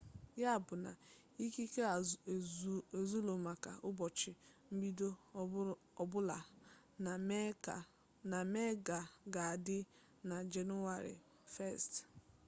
ya bụ na ikike azụụlọ maka ụbọchị mbido ọbụla na mee ga-adị na jenụwarị 1